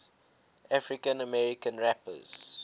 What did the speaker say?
african american rappers